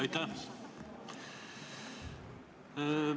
Aitäh!